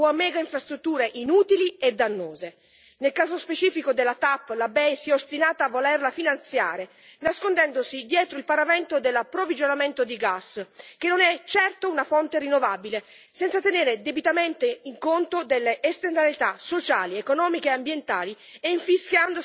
Nel caso specifico del TAP, la BEI si è ostinata a volerlo finanziare nascondendosi dietro il paravento dell'approvvigionamento di gas che non è certo una fonte rinnovabile senza tenere debitamente conto delle esternalità sociali, economiche e ambientali e infischiandosene dei potenziali rischi per la popolazione locale.